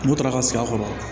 N'u taara ka sigi a kɔrɔ